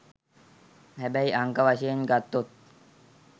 හැබැයි අංක වශයෙන් ගත්තොත්